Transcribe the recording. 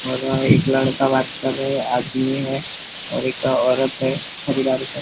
और वहां एक लड़का बात कर रहा है आदमी है और एक औरत है --